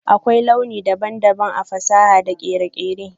Akwai launi daban-daban a fasaha da kere-kere.